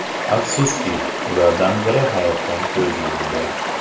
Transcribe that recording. Afsuski, ulardan biri hayotdan ko‘z yumdi.